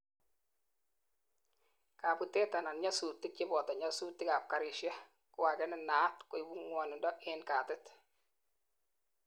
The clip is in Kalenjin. kabutet anan nyasutik, cheboto nyasutik ab garishek koagei nenaat koibu ngwonindo en katit